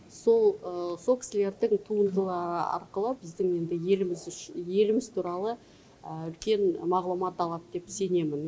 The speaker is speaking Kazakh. сол сол кісілердің туындыла арқылы біздің енді еліміз туралы үлкен мағлұмат алады деп сенемін